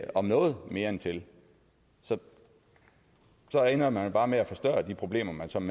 om noget mere end til så ender man bare med at forstørre de problemer som